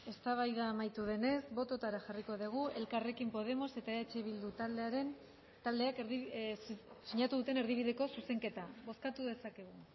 eztabaida amaitu denez bototara jarriko dugu elkarrekin podemos eta eh bildu taldeak sinatu duten erdibideko zuzenketa bozkatu dezakegu